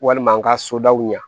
Walima an ka sodaw ɲɛ